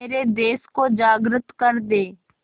मेरे देश को जागृत कर दें